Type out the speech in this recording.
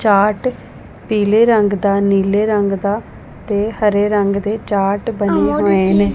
Chart ਪੀਲੇ ਰੰਗ ਦਾ ਨੀਲੇ ਰੰਗ ਦਾ ਤੇ ਹਰੇ ਰੰਗ ਦੇ ਚਾਰਟ ਬਣੇ ਹੋਏ ਨੇ।